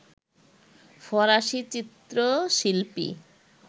ফরাসি চিত্রশিল্পী